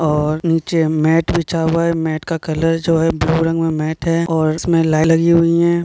और नीचे मेट बिछा हुआ हैं मेट का कलर जो है ब्लू रंग में मेट है और उसमे लगी हुई है।